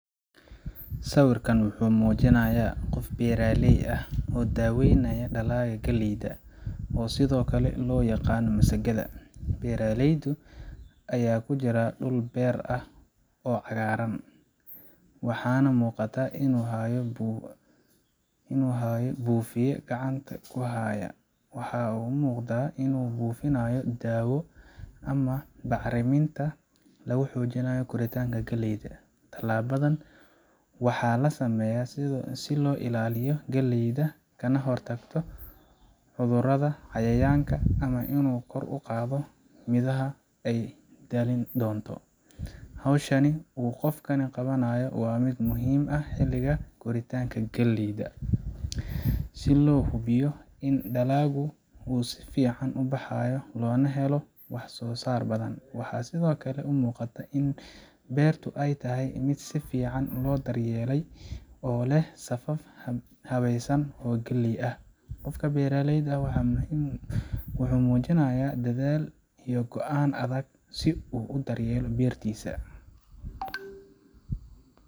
Sawirkaan wuxuu muujinayaa qof beeraley ah oo daaweynaya dalagga galleyda, oo sidoo kale loo yaqaan masagada. Beeraleyda ayaa ku jira dhul beer ah oo cagaaran, waxaana muuqata inuu hayo buufiye gacanta ku haya. Waxa uu u muuqdaa inuu buufinayo daawo ama bacriminta lagu xoojiyo koritaanka galleyda. Tallaabadan waxaa loo sameeyaa si loo ilaaliyo galleyda kana hortago cudurrada, cayayaanka, ama inuu kor u qaado midhaha ay dhali doonto. Hawsha uu qofkani qabanayo waa mid muhiim ah xilliga koritaanka galleyda, si loo hubiyo in dalagga uu si fiican u baxo loona helo wax soo saar badan. Waxaa sidoo kale muuqata in beertu ay tahay mid si fiican loo daryeelay oo leh safaf habeysan oo galley ah. Qofka beeraleyda ah wuxuu muujinayaa dadaal iyo go’aan adag si uu u daryeelo beertiisa.